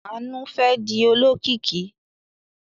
Àánú fẹ́ di olókìkí.